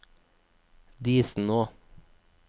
Disenå